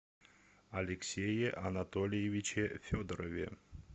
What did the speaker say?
алексее анатольевиче федорове